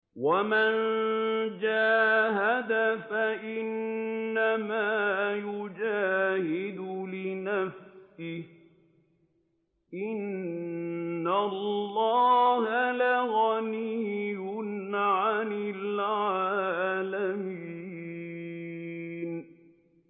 وَمَن جَاهَدَ فَإِنَّمَا يُجَاهِدُ لِنَفْسِهِ ۚ إِنَّ اللَّهَ لَغَنِيٌّ عَنِ الْعَالَمِينَ